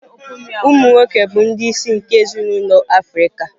Umụ nwoke bụ ndị isi nke ezinụlọ Africa